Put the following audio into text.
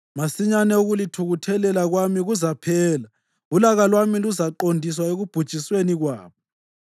Masinyane ukulithukuthelela kwami kuzaphela, ulaka lwami luzaqondiswa ekubhujisweni kwabo.”